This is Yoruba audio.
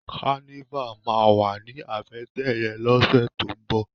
Kànivá mà wá ni àbètè yèn lòsè tó n bò